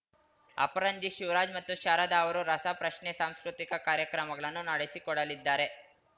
ಅಪರಂಜಿ ಶಿವರಾಜ್‌ ಮತ್ತು ಶಾರದಾ ಅವರು ರಸ ಪ್ರಶ್ನೆ ಸಾಂಸ್ಕೃತಿಕ ಕಾರ್ಯಕ್ರಮಗಳನ್ನು ನಡೆಸಿಕೊಡಲಿದ್ದಾರೆ